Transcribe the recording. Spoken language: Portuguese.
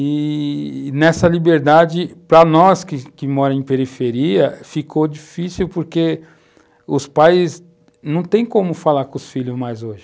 E nessa liberdade, para nós que moramos em periferia, ficou difícil porque os pais não têm como falar com os filhos mais hoje.